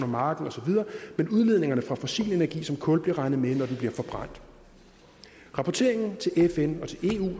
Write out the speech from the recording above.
marken osv men udledningerne fra fossil energi som kul bliver regnet med når det bliver forbrændt rapporteringen til fn